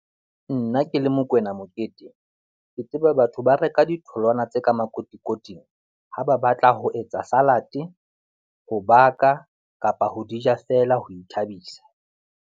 Nna ke le Mokoena Mokete, ke tseba batho ba reka ditholwana tse ka makotikoting ha ba batla ho etsa salate, ho baka kapa ho di ja feela ho ithabisa.